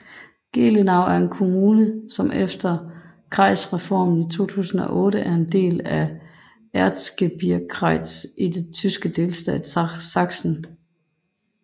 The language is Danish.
Gelenau er en kommune som efter Kreisreformen i 2008 er en del af Erzgebirgskreis i den tyske delstat Sachsen